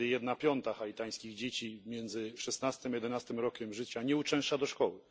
Prawie jedna piąta haitańskich dzieci między szóstym a jedenastym rokiem życia nie uczęszcza do szkoły.